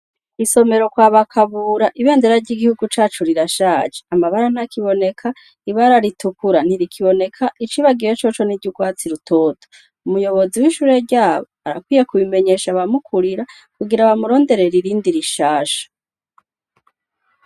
Isomero kwa ba Kabura , ibendera ry’igihugu cacu rirashaje. Amabara ntakiboneka, ibara ritukura ntirikiboneka, icibagiwe coco n’iryugwatsi rutoto. Umuyobozi w’ishuri ryabo ,arakwiye kubimenyesha abamukurira kugira bamuronderere irindi rishasha.